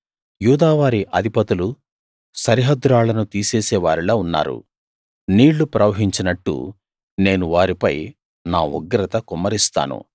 యూదా వారి అధిపతులు సరిహద్దు రాళ్లను తీసేసే వారిలా ఉన్నారు నీళ్లు ప్రవహించినట్టు నేను వారిపై నా ఉగ్రత కుమ్మరిస్తాను